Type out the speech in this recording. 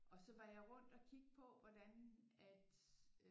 Og så var jeg rundt at kigge på hvordan at øh